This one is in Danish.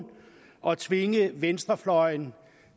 at tvinge venstrefløjen